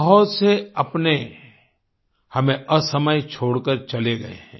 बहुत से अपने हमें असमय छोड़ कर चले गए हैं